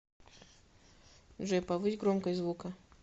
джой повысь громкость звука